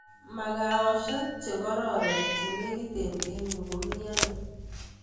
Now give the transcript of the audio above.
Magawoshek chekararan chenegiten en yu ko mieno